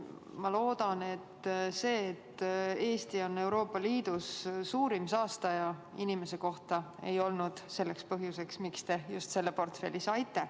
Ma loodan, et see, et Eesti on Euroopa Liidus suurim saastaja inimese kohta, ei olnud põhjus, miks te just selle portfelli saite.